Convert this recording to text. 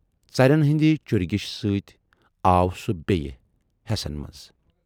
ژرٮ۪ن ہٕندِ چُرۍ گیُشہٕ سۭتۍ آو سُہ بییہِ حٮ۪سن منز۔